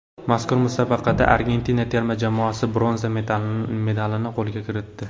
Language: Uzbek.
Mazkur musobaqada Argentina terma jamoasi bronza medalini qo‘lga kiritdi.